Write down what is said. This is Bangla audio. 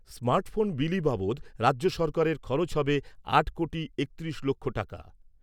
স্মার্ট ফোন বিলি বাবদ রাজ্য সরকারের খরচ হবে আট কোটি একত্রিশ লক্ষ টাকা।